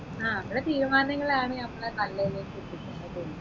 ആ നമ്മളെ തീരുമാനങ്ങളാണ് നമ്മളെ നല്ലതിലേക്ക് എത്തിക്കുന്നതെന്ന് തോന്നുന്നു